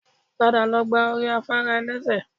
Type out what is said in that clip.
Padà lọ gba orí afárá ẹ̀lẹ́sẹ̀